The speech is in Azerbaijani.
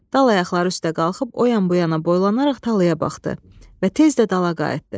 Dal ayaqları üstə qalxıb o yan-bu yana boylanaraq talaya baxdı və tez də dala qayıtdı.